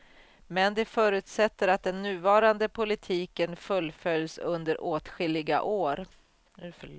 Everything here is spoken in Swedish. Men det förutsätter att den nuvarande politiken fullföljs under åtskilliga år.